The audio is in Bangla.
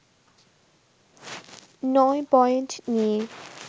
নয় পয়েন্ট নিয়ে